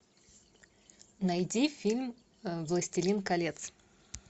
найди фильм властелин колец